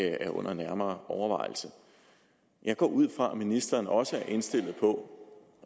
er under nærmere overvejelse jeg går ud fra at ministeren også er indstillet på